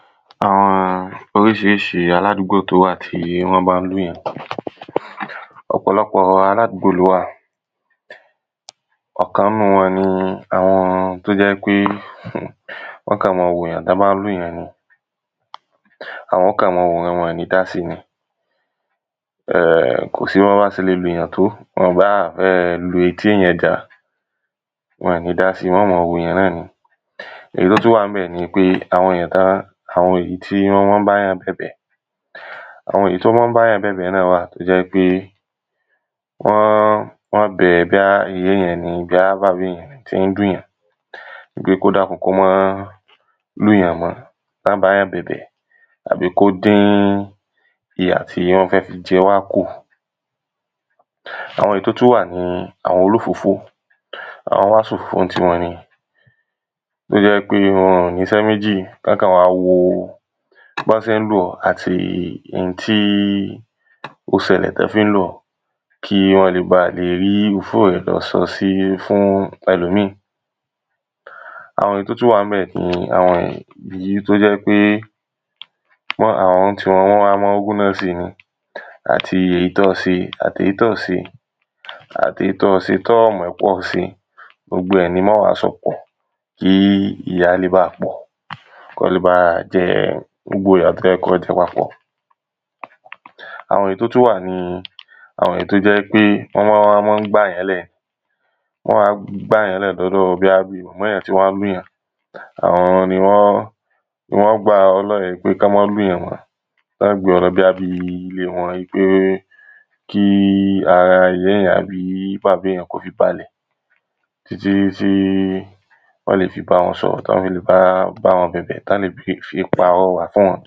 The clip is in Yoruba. àwọn oríṣiríṣi aládúgbò tó wà tí wọ́n bá ń lùyàn. ọ̀pọ̀lọpọ̀ọ aládúgbò ló wà, ọ̀kan ínúu wọn ni àwọn tó jẹ́ pé wọ́n kàn mọ wòyàn tán bá ń lùyàn ni, àwọn ó kàn mọ́ọ wòran ni, wọn ò ní dási ni, kòsí bọ́n bá ṣe le lùyàn tó, wọn ò báà fẹ́ẹ̀ le lu eté èyàn já, wọn ò ní dási, wọ́n kàn mọ wòyàn náà ni. irú tó wà ńbẹ̀ nipé àwọn èyàn tán, àwọn èyí tí wọ́n mọ́ báyàn bẹ̀bẹ̀, àwọn èyí tó mọ́ báyàn bẹ̀bẹ̀ náà wà, tó jẹ́ ípé, wọ́n wọ́n bẹ̀ẹ́ bóyá ìyá èyàn ni, bóyá bàbá èyàn ni tín lùyàn wípé kó dákun kó mọ́ lùyàn mọ́, tán báyàn bẹ̀bẹ̀ àbì kó dín ìyà tí wọ́n fẹ́ fi jẹwá kù. àwọn èyí tó tún wà ni àwọn olófófó, àwọ́n wá sòfófó nítiwọn ni, tó jẹ́ wípé wọ́n ọ̀ níṣé méjì, kán kọ̀ wá woo bọ́n ṣé lù ọ́, tàbí intí ó ṣẹlẹ̀ tán fín lù ọ́ kí wọ́n le báà le rí òfófó rẹ lọ sọ́ sí fún ẹlòmíì. àwọn èyí tó tán wà ńbẹ̀ ni àwọn èyí tó jẹ́ pé àwọn ńtiwọn wọ́n wa mọ ń wúná si ni. àti èyí tọ́ọ se, àti èyí tọ́ọ̀ se, àti èyí tọ́ọ se tọ́ọ̀ mọ̀ pọ́ọ se, gbogbo ẹ̀ ni wọ́n wá sọpọ̀ kí ìyà yẹ́n le baà pọ̀, kọ́ọ le baà jẹ gbogbo ìyà tọ́ yẹ kọ́ọ jẹ papọ̀. àwọn èyí tó tún wà ni áwọn èyí tó jẹ́ ípé wọ́n wá mọ́ gbàyán lẹ̀ ni, wọ́n wá gbàyán lẹ̀ lọ́dọ̀ọ bóyá bíi mọ̀mọ́ èyàn tí wọ́n lùyàn. àwọn ní wọ́n, ni wọ́n gbà ọ́ lẹ̀ ípé kán mọ́ lùyàn mọ́, tán ọọ́ gbé ọ lọ bóyá bíi ilée wọn ípé kí ara ìyá èyàn tàbí bàbá èyàn kó fi balẹ̀, títítítí wọ́n lè fí báwọn sọ̀rọ̀ tán fi lè bá wọn bẹ̀bẹ̀ tán lè fi pàrọwà fún wọn.